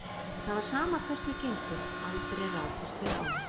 Það var sama hvert þau gengu, aldrei rákust þau á hann.